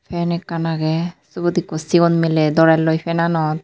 Fan ekkan agey siyot ekko cigon meeley dorelloi fananot.